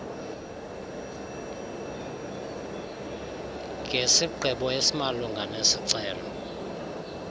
ngesigqibo esimalunga nesicelo